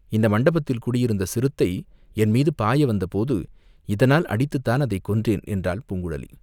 இந்த மண்டபத்தில் குடியிருந்த சிறுத்தை என் மீது பாய வந்தபோது இதனால் அடித்துத்தான் அதைக் கொன்றேன்!" என்றாள் பூங்குழலி.